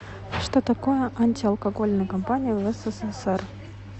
что такое антиалкогольные кампании в ссср